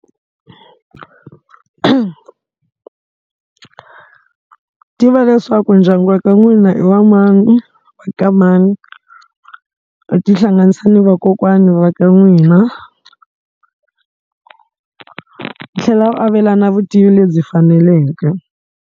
Tiva leswaku ndyangu wa ka n'wina i wa mani wa ka mani, u tihlanganisa na vakokwana va ka n'wina, u tlhela u avelana vutivi lebyi faneleke.